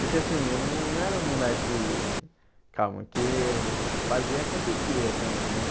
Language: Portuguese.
Porque assim, eu não não era um moleque... calma, que fazia, acontecia também, né?